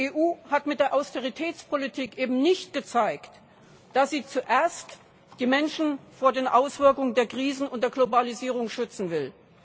Die EU hat mit der Austeritätspolitik eben nicht gezeigt, dass sie zuerst die Menschen vor den Auswirkungen der Krisen und der Globalisierung schützen will.